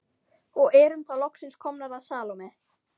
Og erum þá loksins komnar að Salóme.